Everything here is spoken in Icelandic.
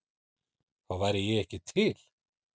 Þá væri ég ekki til?